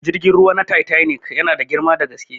Jirgin ruwa na titanic yana da girma da gaske.